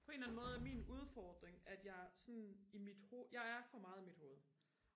på en eller anden måde er min udfordring at jeg sådan i mit hoved jeg er for meget i mit hoved